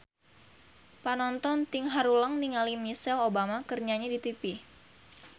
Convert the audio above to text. Panonton ting haruleng ningali Michelle Obama keur nyanyi di tipi